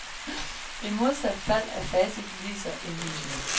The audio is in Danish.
I modsat fald er facit ligeså indlysende.